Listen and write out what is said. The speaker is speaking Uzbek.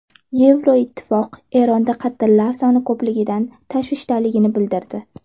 Yevroittifoq Eronda qatllar soni ko‘pligidan tashvishdaligini bildirdi.